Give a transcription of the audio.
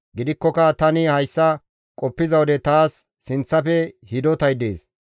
Gidikkoka tani hayssa qoppiza wode taas sinththafe hidotay dees.